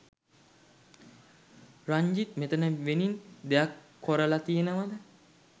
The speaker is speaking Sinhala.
රංජිත් මෙතන වෙනින් දෙයක් කොරලා තියෙනවාද?